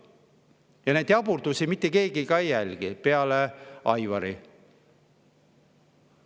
Ja neid jaburdusi ei jälgi mitte keegi peale Aivari.